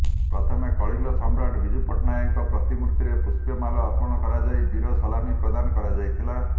ପ୍ରଥମେ କଳିଙ୍ଗ ସମ୍ରାଟ ବିଜୁ ପଟ୍ଟନାୟକଙ୍କ ପ୍ରତିମୂର୍ତିରେ ପୁଷ୍ପମାଲ୍ୟ ଅର୍ପଣ କରାଯାଇ ବୀର ସଲାମୀ ପ୍ରଦାନ କରାଯାଇଥିଲା